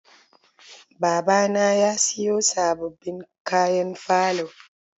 Babana ya siyo sababbin kayan falo.